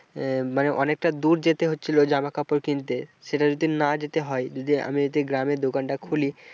আহ মানে অনেকটা দূর যেতে হচ্ছিল জামা কাপড় কিনতে সেটা যদি না যেতে হয়, যদি আমি যদি গ্রামে দোকান টা খুলি,